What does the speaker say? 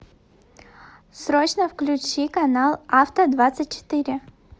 срочно включи канал авто двадцать четыре